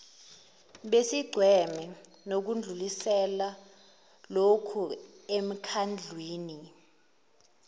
besigceme nokudlulisela lokhuemkhandlwini